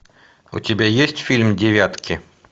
у тебя есть фильм девятки